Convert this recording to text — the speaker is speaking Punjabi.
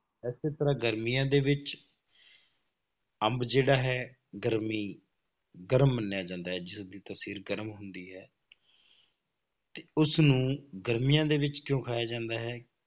ਇਸੇ ਤਰ੍ਹਾਂ ਗਰਮੀਆਂ ਦੇ ਵਿੱਚ ਅੰਬ ਜਿਹੜਾ ਹੈ ਗਰਮੀ ਗਰਮ ਮੰਨਿਆ ਜਾਂਦਾ ਹੈ, ਜਿਦੀ ਤਸੀਰ ਗਰਮ ਹੁੰਦੀ ਹੈ ਤੇ ਉਸਨੂੰ ਗਰਮੀਆਂ ਦੇ ਵਿੱਚ ਕਿਉਂ ਖਾਇਆ ਜਾਂਦਾ ਹੈ,